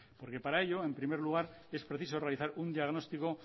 porque para ello en primer lugar es preciso realizar un diagnóstico